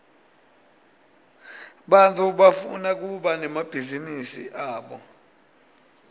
bantfu bafuna kuba nemabhizinisi abo